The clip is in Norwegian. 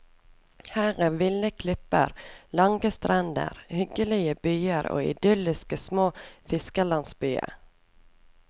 Her er ville klipper, lange strender, hyggelige byer og idylliske små fiskerlandsbyer.